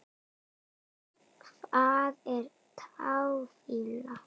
Hvað er táfýla?